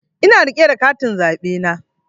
Ina rike da katin zaɓe na